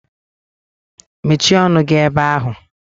(The teacher spoke in English) "Mechie ọnụ gi ebe ahụǃ"